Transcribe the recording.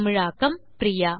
தமிழாக்கம் பிரியா